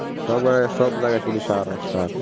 সব জায়গায় শুধু সার আর সার,